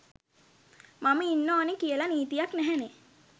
මම ඉන්න ඕනේ කියල නීතියක් නැහැනේ.